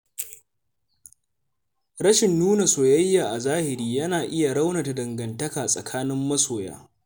Rashin nuna soyayya a zahiri yana iya raunata dangantaka tsakanin masoya.